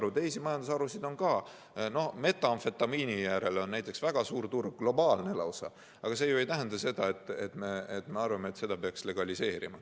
Aga on teisi halbu majandusharusid ka, näiteks metamfetamiinil on väga suur turg, globaalne lausa, aga see ju ei tähenda, et meie arvates selle peaks legaliseerima.